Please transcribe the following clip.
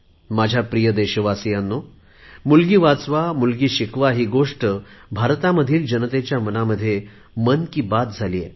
माझ्या प्रिय देशवासीयांनो बेटी बचाओ बेटी पढाओ ही गोष्ट भारतामधील जनतेच्या मनामध्ये मन की बात झाली आहे